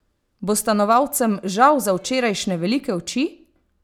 Bo stanovalcem žal za včerajšnje velike oči?